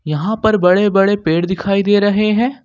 यहां पर बड़े बड़े पेड़ दिखाई दे रहे हैं।